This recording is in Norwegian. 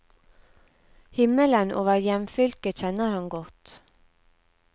Himmelen over hjemfylket kjenner han godt.